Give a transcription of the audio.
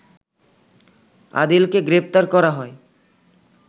আদিলকে গ্রেপ্তার করা হয়